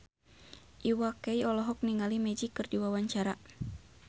Iwa K olohok ningali Magic keur diwawancara